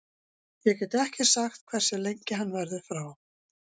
Ég get ekki sagt hversu lengi hann verður frá.